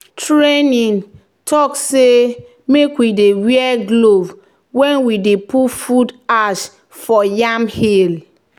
"training talk say make we dey wear glove when we dey put wood ash for yam hill."